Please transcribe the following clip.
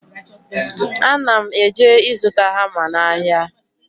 Ana m eje ịzụta hama n'ahịa